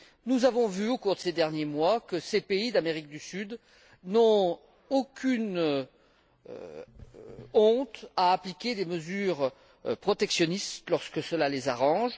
Nous avons vu, au cours de ces derniers mois, que ces pays d'Amérique du Sud n'avait aucune honte à appliquer des mesures protectionnistes, lorsque cela les arrange.